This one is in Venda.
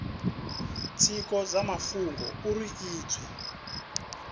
tshiko tsha mafhungo uri izwi